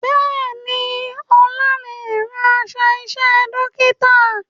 Bẹ́ẹ̀ni, Ọlá lè rán aṣọ iṣẹ́ dókítà